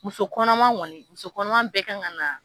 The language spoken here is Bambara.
Muso kɔnɔma kɔni, muso kɔnɔma bɛ ka ka na.